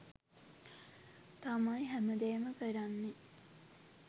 තමයි හැමදේම කරන්නේ.